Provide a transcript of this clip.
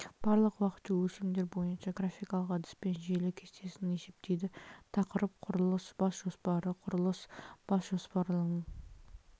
барлық уақытша өлшемдер бойынша графикалық әдіспен желі кестесін есептейді тақырып құрылыс бас жоспары құрылыс бас жоспарларының